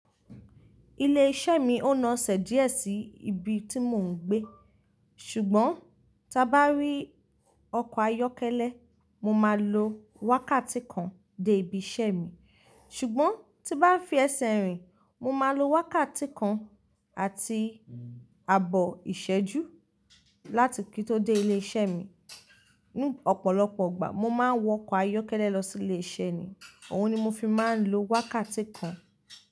Ilé iṣẹ́ mi ó naasẹ̀ díẹ̀ sí ibi tí mò ń gbé. Ṣùgbọ́n, tí bá rí ọkọ̀ ayọ́kẹ́lẹ́, mo máa lo wákàtí kan dé ibi iṣẹ́ mi. Ṣùgbọ́n tí bá fi ẹsẹ̀ rìn, mo máa lo wákàtí kan àti ààbọ̀ ìṣẹ́jú láti kí tó dé ilé iṣẹ́ mi. Ní ọ̀pọ̀lọpọ̀ ìgbà, mo máa ń wọ ọkọ̀ ayọ́kẹ́lẹ́ lọ sí ilé iṣẹ́ mi, òun ni mo fi máa ń lo wákàtí kan.